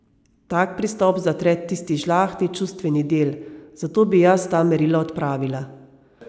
Tak pristop zatre tisti žlahtni čustveni del, zato bi jaz ta merila odpravila.